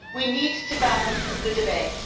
We need to balance the debate.